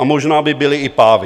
A možná by byli i pávi.